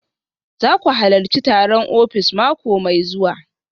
Za ku halarci taron ofis mako mai zuwa